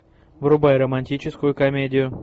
врубай романтическую комедию